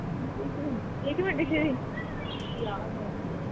ਇੱਕ ਮਿੰਟ ਇੱਕ ਮਿੰਟ ਦੀਦੀ